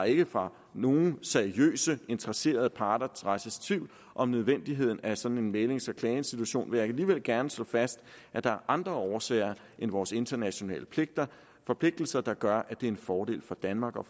ikke fra nogen seriøse interesserede parter rejses tvivl om nødvendigheden af en sådan mæglings og klageinstitution men jeg vil alligevel gerne slå fast at der er andre årsager end vores internationale forpligtelser der gør at det er en fordel for danmark og